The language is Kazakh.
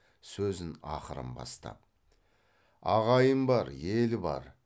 сөзін ақырын бастап ағайын бар ел бар